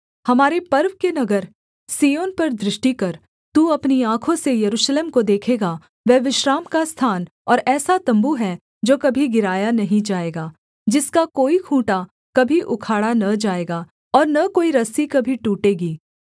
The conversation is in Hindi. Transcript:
हमारे पर्व के नगर सिय्योन पर दृष्टि कर तू अपनी आँखों से यरूशलेम को देखेगा वह विश्राम का स्थान और ऐसा तम्बू है जो कभी गिराया नहीं जाएगा जिसका कोई खूँटा कभी उखाड़ा न जाएगा और न कोई रस्सी कभी टूटेगी